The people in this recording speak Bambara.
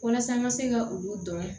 Walasa n ka se ka olu dɔn